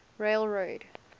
railroad